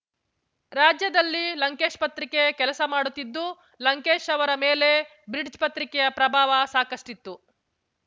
ರಾಜ್ಯದಲ್ಲಿ ಲಂಕೇಶ್‍ಪತ್ರಿಕೆ ಕೆಲಸ ಮಾಡುತ್ತಿದ್ದು ಲಂಕೇಶ್ ಅವರ ಮೇಲೆ ಬ್ರಿಡ್ಜ್ ಪತ್ರಿಕೆಯ ಪ್ರಭಾವ ಸಾಕಷ್ಟಿತ್ತು